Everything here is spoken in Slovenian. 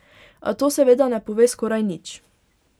A to seveda ne pove skoraj nič...